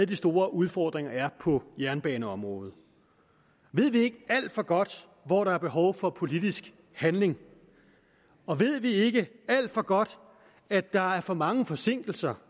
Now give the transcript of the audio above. de store udfordringer er på jernbaneområdet ved vi ikke alt for godt hvor der er behov for politisk handling og ved vi ikke alt for godt at der er for mange forsinkelser